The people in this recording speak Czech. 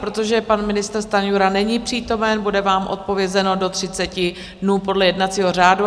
Protože pan ministr Stanjura není přítomen, bude vám odpovězeno do 30 dnů podle jednacího řádu.